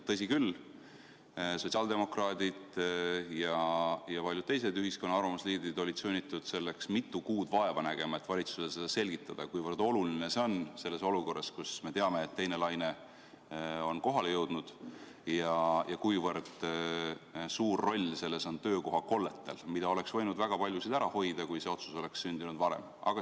Tõsi küll, sotsiaaldemokraadid ja paljud teised ühiskonna arvamusliidrid olid sunnitud selleks mitu kuud vaeva nägema, et valitsusele selgitada, kui oluline see on praeguses olukorras, kus me teame, et teine laine on kohale jõudnud, ja kui suur roll selles on töökoha kolletel, millest väga paljusid oleks võinud ära hoida, kui see otsus oleks sündinud varem.